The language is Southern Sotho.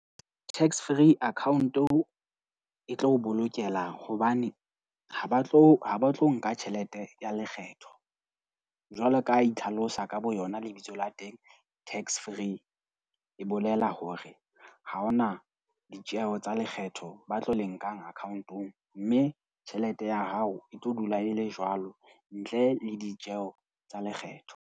Tax free account-o e tlo o bolokela hobane ha ba tlo ha ba tlo nka tjhelete ya lekgetho jwalo ka ha e itlhalosa ka boyona lebitso la teng, tax free. E bolela hore ha hona ditjeo tsa lekgetho ba tlo le nkang account-ong, mme tjhelete ya hao e tlo dula e le jwalo ntle le ditjeo tsa lekgetho.